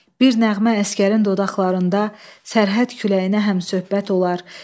Bir nəğmə əsgərin dodaqlarında sərhəd küləyinə həmsöhbət olar.